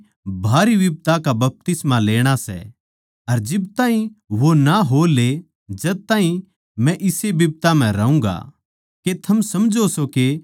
मन्नै तो एक बड़ी भारी बिप्दा का बपतिस्मा लेणा सै अर जिब ताहीं वो ना हो ले जद ताहीं मै इस्से बिप्दा म्ह रहूँगा